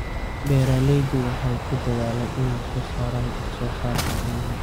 Beeraleydu waxay ku dadaalaan inay soo saaraan wax-soo-saarka caanaha.